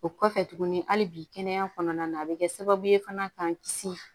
O kɔfɛ tuguni hali bi kɛnɛya kɔnɔna na a bɛ kɛ sababu ye fana k'an kisi